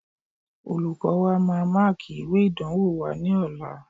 Olùkọ́ọ wa máa máàkì ìwé ìdánwò wa ní ọ̀la